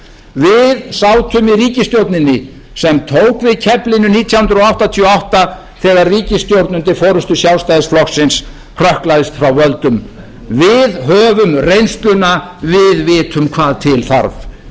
við sátum í ríkisstjórninni sem tók við keflinu nítján hundruð áttatíu og átta þegar ríkisstjórn undir forustu sjálfstæðisflokksins hrökklaðist frá völdum við höfum reynsluna við vitum hvað til þarf